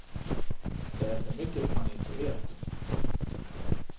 Det är för mycket man inte vet.